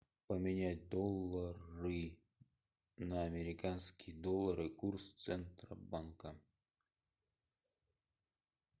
поменять доллары на американские доллары курс центробанка